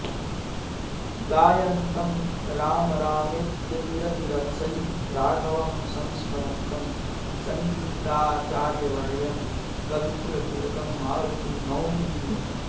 गायन्तं राम रामेत्यतिरतिरभसैः राघवं संस्मरन्तं सङ्गीताचार्यवर्यं कविकुलतिलकं मारुतिं नौमि वीरम्